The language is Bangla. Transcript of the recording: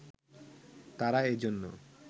তারা এজন্য